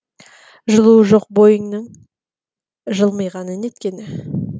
жылуы жоқ бойының жылмиғаны неткені